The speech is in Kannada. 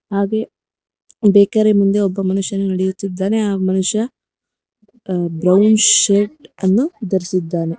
ಹಾಗೆ ಬೇಕರಿ ಮುಂದೆ ಒಬ್ಬ ಮನುಷ್ಯನು ನಡೆಯುತ್ತಿದ್ದಾನೆ ಆ ಮನುಷ್ಯ ಬ್ರೌನ್ ಶರ್ಟ್ ಅನ್ನು ಧರಿಸಿದ್ದಾನೆ.